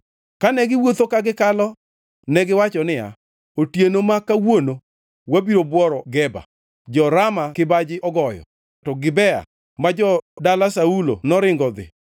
Kane giwuotho ka gikalo negiwacho niya, “Otieno ma kawuono wabiro bworo Geba.” Jo-Rama kibaji ogoyo; to Gibea ma jo-dala Saulo joringo dhi.